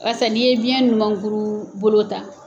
Wasa n'i ye biyɛn ɲumankuru bolo ta.